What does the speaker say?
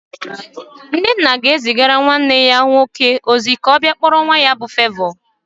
Nnenna ga-ezigara nwanne ya nwoke ozi ka ọ bịa kpọrọ nwa ya bụ Fevọ